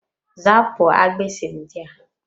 Zapụ agbisi ndị a!